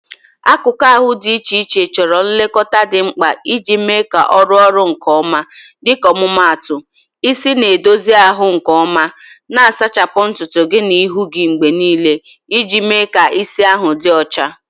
Akụkụ ahụ dị iche iche chọrọ nlekọta dị mkpa iji mee ka ọ rụọ ọrụ nke ọma, dịka ọmụmaatụ isi: na-edozi ahụ nke ọma, na-asachapụ ntutu gị na ihu gị mgbe niile iji mee ka isi ahụ dị ọcha.